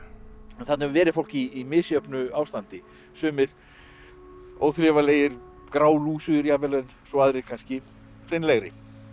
en þarna hefur verið fólk í misjöfnu ástandi sumir óþrifalegir grálúsugir jafnvel en svo aðrir kannski hreinlegri